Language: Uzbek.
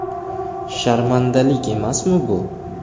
Sharmandalik emasmi bu?!